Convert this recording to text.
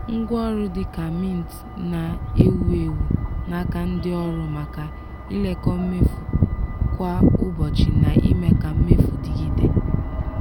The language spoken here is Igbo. ngwaọrụ dị ka mint na-ewu ewu n’aka ndị ọrụ maka ilekọ mmefu kwa ụbọchị na ime ka mmefu dịgide.